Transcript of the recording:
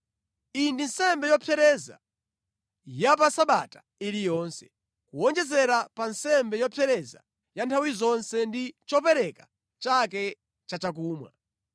Iyi ndi nsembe yopsereza ya pa Sabata iliyonse, kuwonjezera pa nsembe yopsereza ya nthawi zonse ndi chopereka chake chachakumwa.’ ”